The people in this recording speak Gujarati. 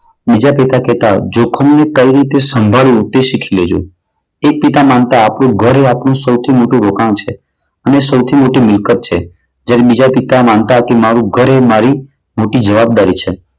બીજા પિતા કહેતા કે જોખમને કઈ રીતે સંભાળવું તે શીખી લેજો. એક પિતા માનતા કે આપણું ઘર એ સૌથી મોટું રોકાણ છે. અને સૌથી મોટી મિલકત છે. જ્યારે બીજા પિતા માનતા કે મારું ઘર એ મારી જવાબદારી છે.